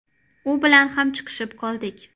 U bilan ham chiqishib qoldik.